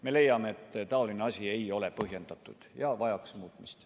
Me leiame, et selline asi ei ole põhjendatud ja vajaks muutmist.